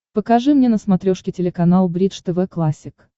покажи мне на смотрешке телеканал бридж тв классик